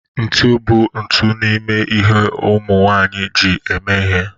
ntụ bụ otu n'ime ihe ụmụ nwanyị ji eme ihe